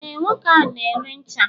ee, nwoke ahu na-ere ncha